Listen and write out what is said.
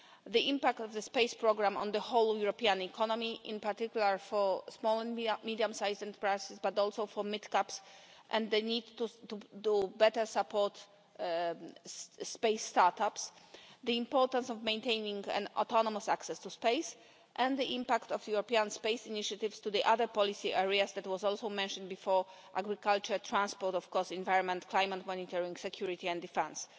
The impact of the space programme on the whole European economy, in particular for small and medium-sized enterprises, but also for mid-caps, and the need to better support space startups, the importance of maintaining an autonomous access to space and the impact of the European space initiatives on the other policy areas that was also mentioned before agriculture, transport, of course, environment, climate monitoring, security and defence.